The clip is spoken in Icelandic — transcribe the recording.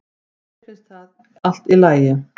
Mér finnst það allt í lagi